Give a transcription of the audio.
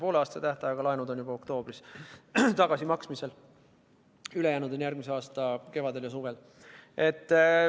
Pooleaastase tähtajaga laenud on juba oktoobris tagasimaksmisel, ülejäänud makstakse tagasi järgmise aasta kevadel ja suvel.